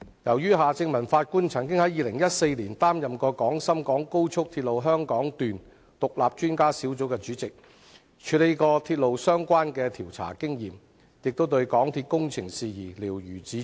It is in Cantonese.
由於法官夏正民曾於2014年擔任廣深港高速鐵路香港段獨立專家小組主席，有鐵路相關事宜的調查經驗，亦對香港鐵路有限公司的工程事宜瞭如指掌。